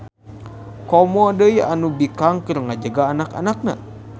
Komo deui anu bikang keur ngajaga anak-anakna.